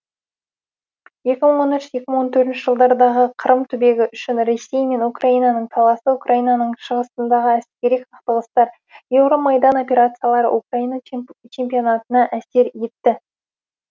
екі мың он үш екі мың он төртінші жылдардағы қырым түбегі үшін ресей мен украинаның таласы украинаның шығысындағы әскери қақтығыстар еуромайдан операциялары украина чемпионатына да әсер етті